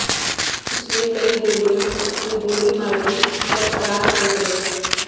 اس نے کئی گولیاں اس میں گولی مار دی اور فرار ہوگئے